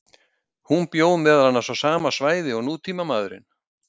Hann bjó meðal annars á sama svæði og nútímamaðurinn.